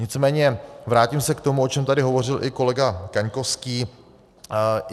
Nicméně vrátím se k tomu, o čem tady hovořil i kolega Kaňkovský.